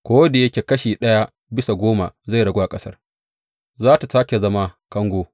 Ko da yake kashi ɗaya bisa goma zai ragu a ƙasar, za tă sāke zama kango.